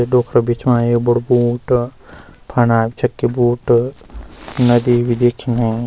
ते डोखरा बिछवायीं यु बडू बूट फना चक्की बूट नदी भी दिखणी।